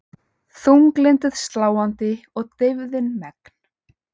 Þunglyndið sláandi og deyfðin megn.